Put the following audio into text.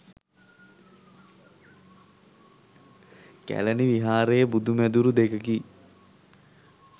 කැලණි විහාරයේ බුදු මැදුරු දෙකකි.